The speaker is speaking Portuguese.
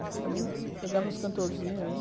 A gente também pegava uns cantorzinhos aí.